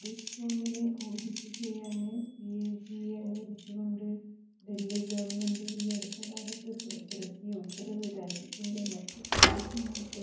ഡിസ്കോമിനെ audit ചെയ്യാന് സിഎജിയെ അനുവദിച്ചുകൊണ്ട് ഡല്ഹി ഗവണ്മെന്റ് ഈ അടുത്തകാലത്ത് പുറത്തിറക്കിയ ഉത്തരവ് രാജ്യത്തിന്റെ മറ്റ് പ്രാദേശങ്ങള്ക്ക്